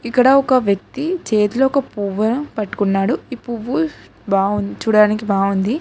ఇక్కడ ఒక వ్యక్తి చేతిలోకి పువ్వా పట్టుకున్నాడు ఈ పువ్వు చూడ్డానికి బాగుంది.